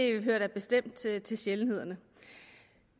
det hører da bestemt til til sjældenhederne